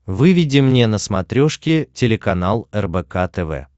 выведи мне на смотрешке телеканал рбк тв